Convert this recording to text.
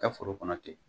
Ka foro kɔnɔ ten